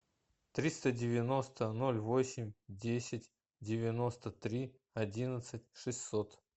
триста девяносто ноль восемь десять девяносто три одиннадцать шестьсот